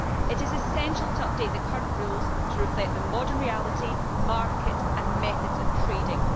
It is essential to update the current rules to reflect the modern reality, market and methods of trading.